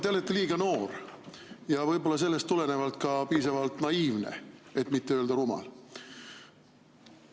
Te olete liiga noor ja võib-olla sellest tulenevalt ka piisavalt naiivne, et mitte öelda rumal.